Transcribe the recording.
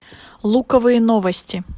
луковые новости